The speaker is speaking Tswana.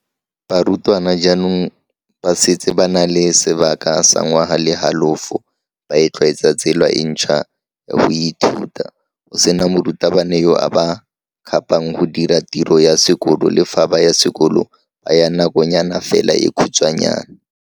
Aforika Borwa ao ba amilweng thata ke letsholo la go sekega nakwana ditiro tsa ka fa nageng.